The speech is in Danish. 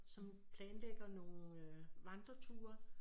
Som planlægegr nogen vandreturer